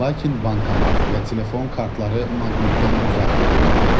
Lakin bankomat və telefon kartları maqnitdən uzaq tutulmalıdır.